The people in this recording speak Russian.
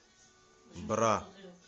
бра